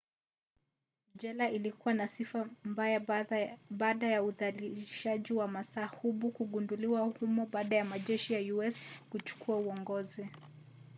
jela ilikuwa na sifa mbaya baada ya udhalilishaji wa mahabusu kugunduliwa humo baada ya majeshi ya us kuchukua uongozi